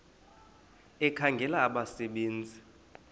ekhangela abasebe nzi